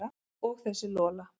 Og þessi Lola.